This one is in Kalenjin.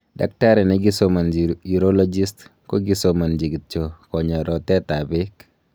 daktari negisomanchi urologist, kogisomancho kityo konya rotet ap peek